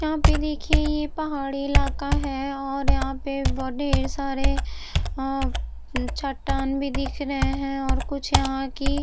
यहाँ पर देखिए ये पहाड़ी इलाका है और यहाँ पर बहोत ढेर सारे चट्टान भी दिख रहे है और कुछ यहाँ की --